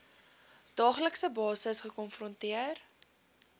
daaglikse basis gekonfronteer